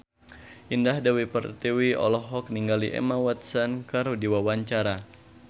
Indah Dewi Pertiwi olohok ningali Emma Watson keur diwawancara